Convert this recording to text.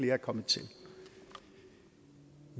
er kommet til